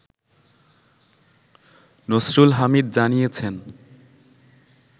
নসরুল হামিদ জানিয়েছেন